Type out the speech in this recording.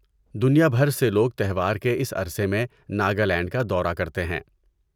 دنیا بھر سے لوگ تہوار کے اس عرٖصے میں ناگا لینڈ کا دورہ کرتے ہیں۔